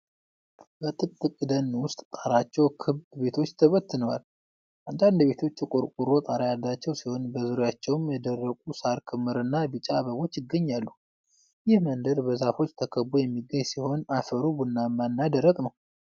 በጥቅጥቅ ደን ውስጥ፣ ጣራቸው ክብ ቤቶች ተበትነዋል። አንዳንድ ቤቶች የቆርቆሮ ጣራ ያላቸው ሲሆን፣ በዙሪያቸውም የደረቁ ሳር ክምርና ቢጫ አበቦች ይገኛሉ። ይህ መንደር በዛፎች ተከቦ የሚገኝ ሲሆን፣ አፈሩ ቡናማ እና ደረቅ ነው።